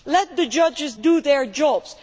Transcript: Let the judges do their jobs.